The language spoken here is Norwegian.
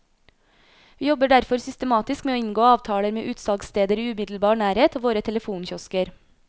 Vi jobber derfor systematisk med å inngå avtaler med utsalgssteder i umiddelbar nærhet av våre telefonkiosker.